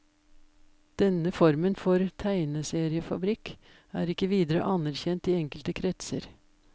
Denne formen for tegneseriefabrikk er ikke videre anerkjent i enkelte kretser.